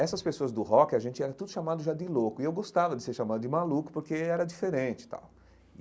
Essas pessoas do rock, a gente era tudo chamado já de louco, e eu gostava de ser chamado de maluco, porque era diferente e tal.